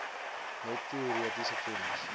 net teoretiese kennis